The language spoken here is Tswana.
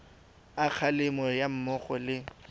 a kgalemo ga mmogo le